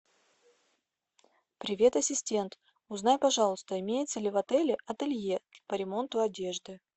привет ассистент узнай пожалуйста имеется ли в отеле ателье по ремонту одежды